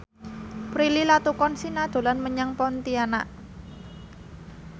Prilly Latuconsina dolan menyang Pontianak